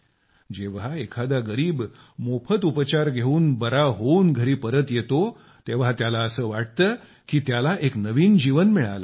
जेव्हा एखादा गरीब मोफत उपचार घेऊन बरा होऊन घरी येतो तेव्हा त्याला असे वाटते की त्याला एक नवीन जीवन मिळाले आहे